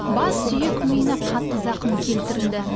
бас сүйек миына қатты зақым келтірілді